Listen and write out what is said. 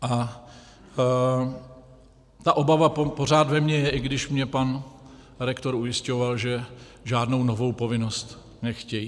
A ta obava pořád ve mně je, i když mě pan rektor ujišťoval, že žádnou novou povinnost nechtějí.